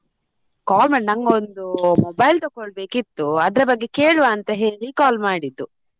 Call ಮಾಡಿದ್ದ್ ನಂಗೊಂದು mobile ತಕೊಳ್ಬೇಕಿತ್ತು ಅದ್ರ ಬಗ್ಗೆ ಕೇಳುವ ಅಂತ ಹೇಳಿ call ಮಾಡಿದ್ದು.